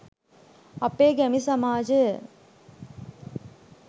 අපේ ගැමි සමාජය